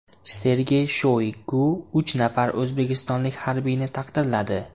Sergey Shoygu uch nafar o‘zbekistonlik harbiyni taqdirladi .